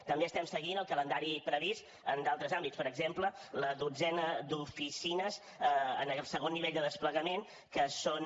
també estem seguint el calendari previst en d’altres àmbits per exemple la dotzena d’oficines en aquest segon nivell de desplegament que són